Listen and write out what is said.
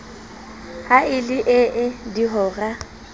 ha e le ee dihora